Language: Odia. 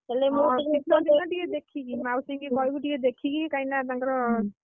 ହଁ ଟିକେ ଦେଖିକି ମାଉସୀକୁ କହିବୁ, କାହିଁକି ନା ତାଙ୍କର